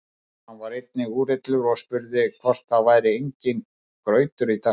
Hann var eitthvað úrillur og spurði hvort það væri enginn grautur í dag.